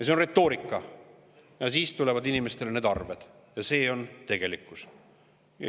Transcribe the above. See on retoorika, aga siis tulevad inimestele arved ja see on tegelikkus.